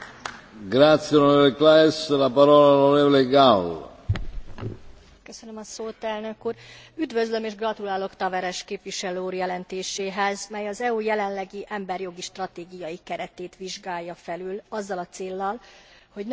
Üdvözlöm és gratulálok Taveres képviselő úr jelentéséhez, mely az EU jelenlegi emberi jogi stratégiai keretét vizsgálja felül azzal a céllal, hogy növekedjen az Unió hatékonysága, eredményessége és koherenciája az emberi jogok védelmének tekintetében.